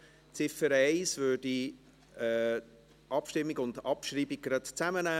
Bei Ziffer 1 würde ich die Abstimmung und Abschreibung gerade zusammennehmen.